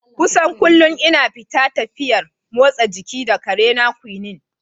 Kusan kullum ina fita tafiyar motsa jiki da ƙarena Quinnie.